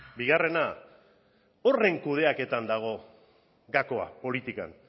bigarrena horren kudeaketan dago gakoa politikan